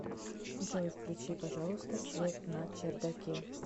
джой включи пожалуйста свет на чердаке